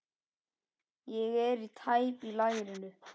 Ég er tæp í lærinu.